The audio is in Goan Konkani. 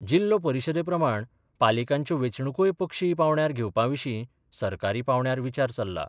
जिल्लो परिशदेप्रमाण पालिकांच्यो वेंचणुकोय पक्षीय पांवड्यार घेवपाविशीं सरकारी पांवड्यार विचार चल्ला.